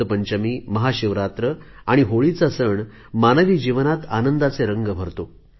वसंत पंचमी महाशिवरात्र आणि होळीचा सण मानवी जीवनात आनंदाचे रंग भरतो